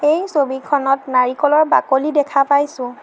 এই ছবিখনত নাৰিকলৰ বাকলি দেখা পাইছোঁ।